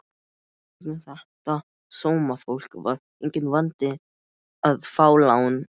Í gegnum þetta sómafólk var enginn vandi að fá lán.